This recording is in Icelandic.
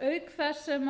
þess sem